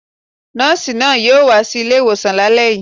Nọ́ọ̀sì náà yóò wá sí ilé-ìwòsàn lálẹ́ yìí